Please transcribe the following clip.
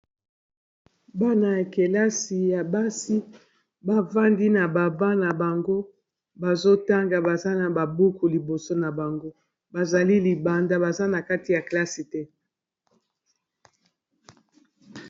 Bana ya kelasi ya basi bafandi na ba banc na bango bazotanga baza na ba buku liboso na bango bazali libanda baza na kati ya klase te.